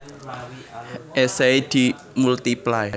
Esei di Multiply